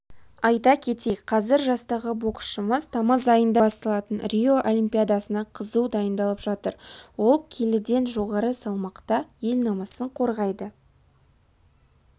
айта кетейік қазір жастағы боксшымыз тамыз айында басталатын рио олимпиадасына қызу дайындалып жатыр ол келіден жоғары салмақта ел намысын қорғайды